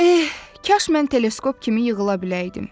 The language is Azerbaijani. Eh, kaş mən teleskop kimi yığıla biləydim.